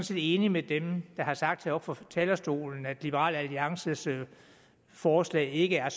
set enig med dem der har sagt heroppe fra talerstolen at liberal alliances forslag ikke er